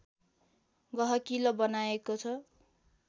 गहकिलो बनाएको छ